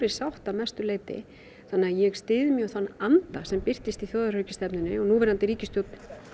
sátt að mestu leyti þannig að ég styð mjög þann anda sem birtist í þjóðaröryggisstefnunni og núverandi ríkisstjórn